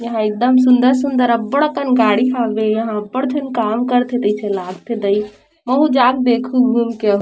यहाँ एकदम सूंदर-सूंदर अब्बड़ अकन गाड़ी हावे यहाँ अब्बड़ झन काम करथे तइसे लागथे दई महू जा क देखहु घूम के अउ --